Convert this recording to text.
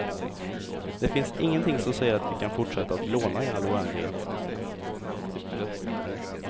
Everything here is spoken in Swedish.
Det finns ingenting som säger att vi kan fortsätta att låna i all oändlighet.